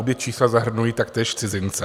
Obě čísla zahrnují taktéž cizince.